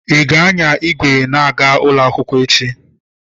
Ị ga-anya igwe na-aga ụlọ akwụkwọ echi?